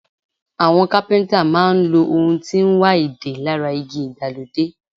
Àwọn Kápẹ́ńtà máa ń lo ohun tí ń wa ìdè lára igi ìgbàlódé.